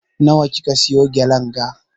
Na wa kika siya gelen ga?